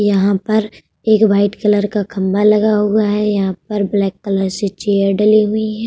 यहाँ पर एक वाइट कलर का खम्बा लगा हुआ है। यहाँ पर ब्लैक कलर से चेयर डली हुई है।